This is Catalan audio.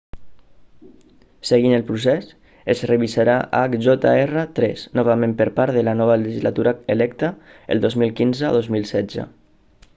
seguint el procés es revisarà hjr-3 novament per part de la nova legislatura electa el 2015 o 2016